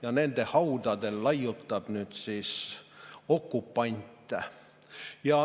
Ja nende haudadel laiutab nüüd okupant.